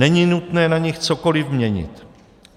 Není nutné na nich cokoliv měnit.